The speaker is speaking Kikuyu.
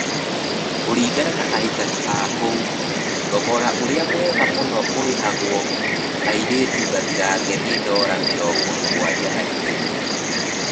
Kũringana na aikari a kũu, thogora ũrĩa mwega mũno ũrĩhagwo airĩtu gathirange nĩ dora mirongo mũgwanja na igiri.